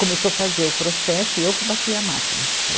Começou fazer o processo e eu que bati a máquina.